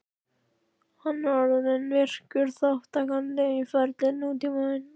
Hann er orðinn virkur þátttakandi í ferli nútímans.